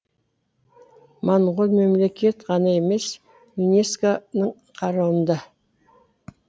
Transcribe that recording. моңғол мемлекет ғана емес юнеско ның қарауында